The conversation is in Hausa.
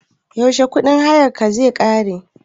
Yaushe kuɗin hayarka zai ƙare?